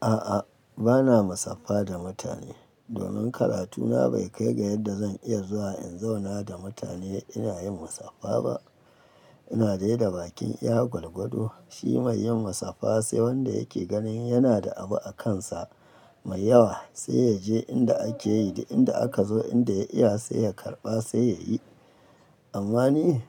A'a, ba na musaffa da mutane. Domin karatuna bai kai ga yadda zan iya zuwa in zauna da mutane ina yin musaffa ba. Ina dai da bakin iya gwagwado. Shi mai yin musafaha sai wanda yake ganin yana da abu a kansa mai yawa sai ya je inda ake yi da inda aka zo, inda ya iya sai ya karɓa sai ya yi. Amma ni